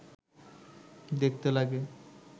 দেখতে লাগে